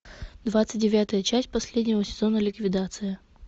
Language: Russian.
двадцать девятая часть последнего сезона ликвидация